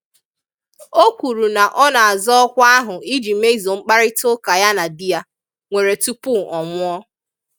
O kwuru na ọ na-azọ ọkwá ahụ iji mezuo mkparịtaụka ya na di ya nwere tupu ọ nwụọ.